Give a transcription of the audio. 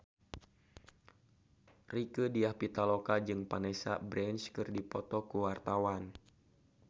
Rieke Diah Pitaloka jeung Vanessa Branch keur dipoto ku wartawan